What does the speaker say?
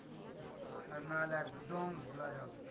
আর না হলে একদম ঘোলা জল।